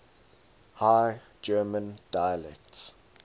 high german dialects